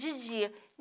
De dia.